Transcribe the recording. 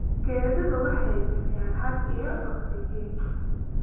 Geeduhu waxay bixiyaan hadh iyo ogsijiin.